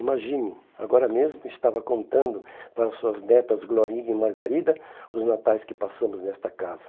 Imagine, agora mesmo estava contando para suas netas Glorinha e Margarida os natais que passamos nesta casa.